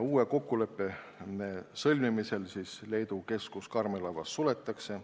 Uue kokkuleppe sõlmimisel Leedus Karmelavas asuv keskus suletakse.